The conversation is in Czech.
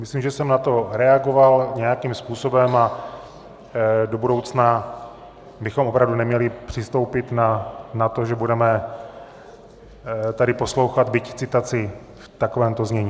Myslím, že jsem na to reagoval nějakým způsobem, a do budoucna bychom opravdu neměli přistoupit na to, že budeme tady poslouchat byť citaci v takovémto znění.